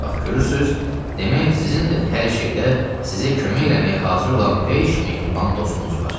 Bax görürsüz, demək sizin də hər şeydə sizə kömək eləməyə hazır olan beş mehriban dostunuz var.